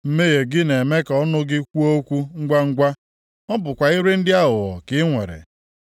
Mmehie gị na-eme ka ọnụ gị kwuo okwu ngwangwa; ọ bụkwa ire ndị aghụghọ ka i nwere.